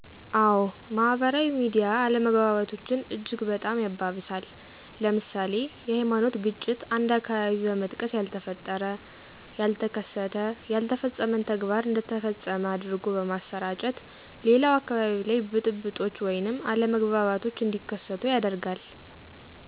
አዎ ማህበራዊ ሚዲያ አለመግባባቶችን እጅግ በጣም ያባብሳል። ለምሳሌ፦ የሀይማኖት ግጭት አንድን አካባቢ በመጥቀስ ያልተፈጠረ፣ ያተከሰተ፣ ያልተፈፀመን ተግባር እንደ ተፈፀመ አድርጎ በማሰራጨት ሌላው አካባቢ ላይ ብጥብጦች ወይንም አለመግባባቶች እንዲከሰቱ ያደርጋል።